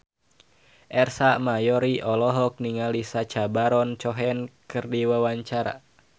Ersa Mayori olohok ningali Sacha Baron Cohen keur diwawancara